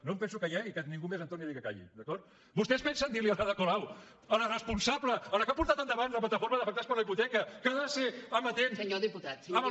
no penso callar i que ningú més em torni a dir que calli d’acord vostès pensen dirli a l’ada colau a la responsable a la que ha portat endavant la plataforma d’afectats per la hipoteca que ha de ser amatent